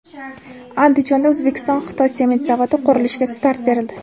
Andijonda O‘zbekiston-Xitoy sement zavodi qurilishiga start berildi.